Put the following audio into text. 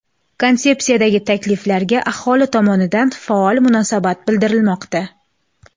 Konsepsiyadagi takliflarga aholi tomonidan faol munosabat bildirilmoqda.